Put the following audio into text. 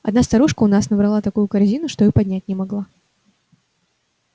одна старушка у нас раз набрала такую корзину что и поднять не могла